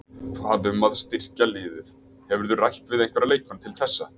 Hvað um að styrkja liðið, hefurðu rætt við einhverja leikmenn til þessa?